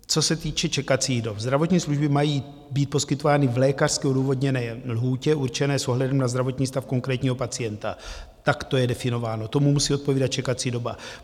Co se týče čekacích dob: zdravotní služby mají být poskytovány v lékařské odůvodněné lhůtě určené s ohledem na zdravotní stav konkrétního pacienta, tak to je definováno, tomu musí odpovídat čekací doba.